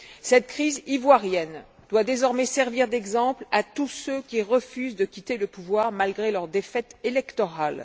Cette crise ivoirienne doit désormais servir d'exemple à tous ceux qui refusent de quitter le pouvoir malgré leur défaite électorale.